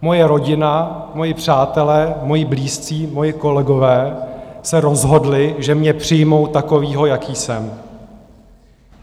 Moje rodina, moji přátelé, moji blízcí, moji kolegové se rozhodli, že mě přijmou takového, jaký jsem.